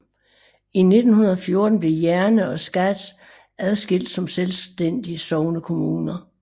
I 1914 blev Jerne og Skads adskilt som selvstændige sognekommuner